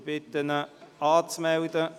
Ich bitte ihn, sich anzumelden.